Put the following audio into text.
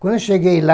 Quando cheguei lá,